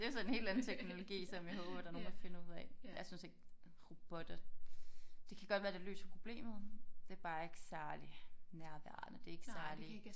Det jo så en helt anden teknologi som jeg håber der er nogen der finder ud af jeg synes ikke robotter det kan godt være det løser problemet det bare ikke særlig nærværende det ikke særlig